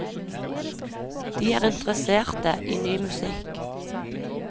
De er interesserte i ny musikk.